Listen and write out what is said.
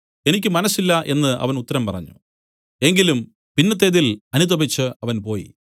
എനിക്ക് മനസ്സില്ല എന്നു അവൻ ഉത്തരം പറഞ്ഞു എങ്കിലും പിന്നത്തേതിൽ അനുതപിച്ച് അവൻ പോയി